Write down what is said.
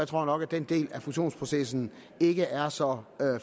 tror nok at den del af fusionsprocessen ikke er så